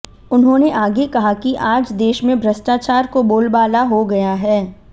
उन्होंने आगे कहा कि आज देश में भ्रष्टाचार को बोलबाला हो गया है